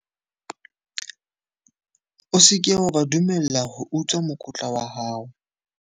O se ke wa ba dumella ho utswa mokotla wa hao.